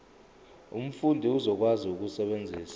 umfundi uzokwazi ukusebenzisa